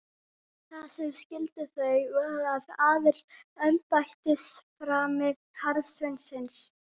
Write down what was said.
Það sem skildi þau að var aðeins embættisframi hjarðsveinsins.